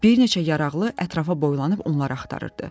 Bir neçə yaraqlı ətrafa boylanıb onları axtarırdı.